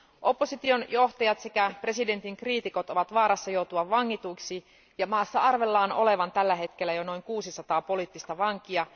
Opposition johtajat sekä presidentin kriitikot ovat vaarassa joutua vangituiksi, ja maassa arvellaan olevan tällä hetkellä jo noin 600 poliittista vankia.